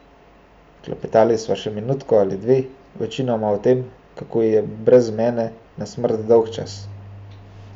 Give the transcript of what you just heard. Klepetali sva še minutko ali dve, večinoma o tem, kako ji je brez mene na smrt dolgčas.